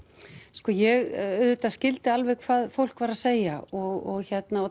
sko ég auðvitað skildi hvað fólk var að segja og